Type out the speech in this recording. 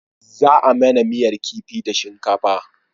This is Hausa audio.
Za a mana miyar kifi da shinkafa